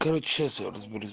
короче сейчас разберусь